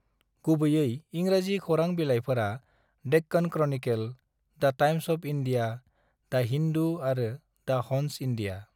गुबैयै इंराजि खौरां बिलाइफोरा Deccan Chronicle, the Times of India, the Hindu आरो द हन्स इन्डिया ।